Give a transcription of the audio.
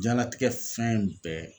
Jiyanlatigɛ fɛn bɛɛ.